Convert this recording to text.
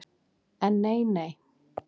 En nei, nei.